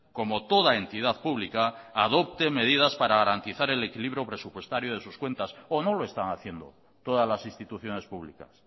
como toda entidad pública adopte medidas para garantizar el equilibrio presupuestario de sus cuentas o no lo están haciendo todas las instituciones públicas